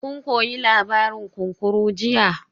Kun koyi labarin kunkuru jiya?